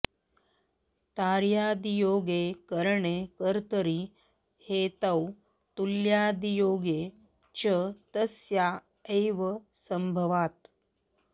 तार्यादियोगे करणे कर्तरि हेतौ तुल्यादियोगे च तस्या एव संभवात्